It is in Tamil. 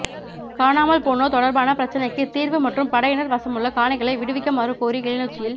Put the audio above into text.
காணாமல் போனோர் தொடர்பான பிரச்சினைக்கு தீர்வு மற்றும் படையினர் வசமுள்ள காணிகளை விடுவிக்குமாறு கோரி கிளிநொச்சியில்